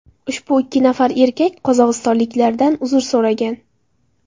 Ushbu ikki nafar erkak qozog‘istonliklardan uzr so‘ragan.